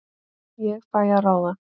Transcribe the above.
Ég fæ að ráða.